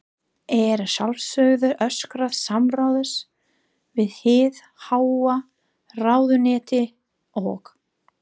Er að sjálfsögðu óskað samráðs við hið háa ráðuneyti og